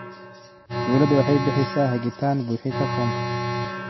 Dawladdu waxay bixisaa hagitaan buuxinta foomka.